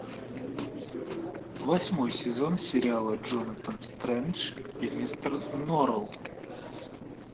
восьмой сезон сериала джонатан стрендж и мистер норрелл